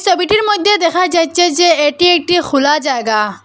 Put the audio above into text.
ছবিটির মইদ্যে দেখা যাইচ্ছে যে এটি একটি খুলা জায়গা।